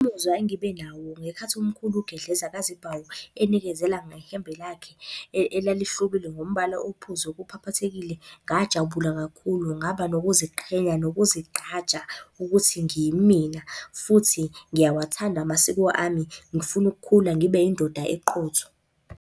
Umuzwa engibe nawo ngekhathi umkhulu uGedleza kaZibhawu enikezela ngehembe lakhe elalihlobile ngombala ophuzi okuphaphathekile, ngajabula kakhulu ngaba nokuziqhenya nokuzigqaja ukuthi ngiyimina, futhi ngiyawathanda amasiko ami. Ngifuna ukukhula ngibe yindoda eqotho.